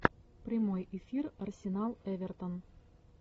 прямой эфир арсенал эвертон